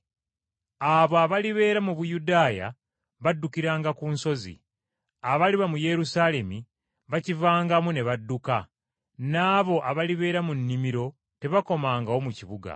Abo abalibeera mu Buyudaaya baddukiranga ku nsozi, abaliba mu Yerusaalemi bakivangamu ne badduka, n’abo abalibeera mu nnimiro tebakomangawo mu kibuga.